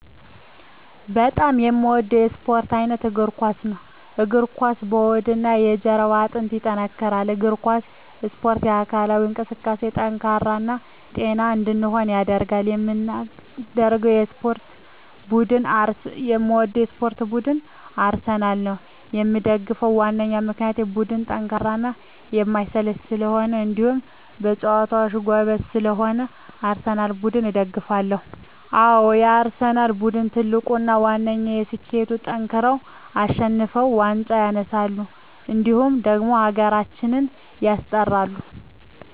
በጣም የምወደው የስፓርት አይነት የእግር ኳስ። የእግር ኳስ የሆድና የጀርባ አጥንትን ያጠነክራል። የእግር ኳስ እስፖርት ለአካላዊ እንቅስቃሴ ጠንካራ እና ጤነኛ እንድንሆን ያደርጋል። የምደግፈው የስፓርት ቡድን አርሰናል ነው። የምደግፍበት ዋነኛ ምክንያት ቡድኑ ጠንካራና የማይሰለች ስለሆኑ እንዲሁም በጨዋታቸው ጎበዝ ስለሆኑ የአርሰናል ቡድንን እደግፋለሁ። አዎ የአርሰናል ቡድን ትልቁና ዋነኛ ስኬቱጠንክረው አሸንፈው ዋንጫ ያነሳሉ እንዲሁም ደግሞ ሀገራችንም ያስጠራሉ።